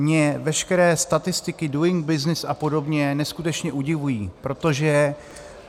Mě veškeré statistiky, Doing Business a podobně neskutečně udivují, protože -